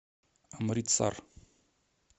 амритсар